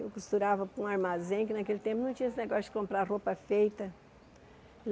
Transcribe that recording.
Eu costurava para um armazém, que naquele tempo não tinha esse negócio de comprar roupa feita.